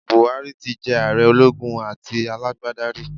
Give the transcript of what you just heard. Buhari ti jé ààre ológun àti alágbádá rí